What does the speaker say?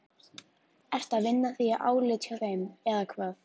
Ertu að vinna þig í álit hjá þeim, eða hvað?